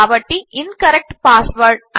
కాబట్టి incorrect password